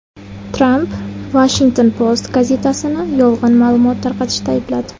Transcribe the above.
Tramp Washington Post gazetasini yolg‘on ma’lumot tarqatishda aybladi.